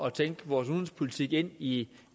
at tænke vores udenrigspolitik ind i